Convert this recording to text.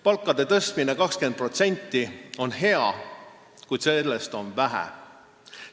Palkade tõstmine 20% on hea, kuid sellest on vähe.